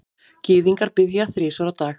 Gyðingar biðja þrisvar á dag.